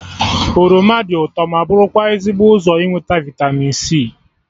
Oroma dị ụtọ ma bụrụkwa ezigbo ụzọ inweta vịtamin c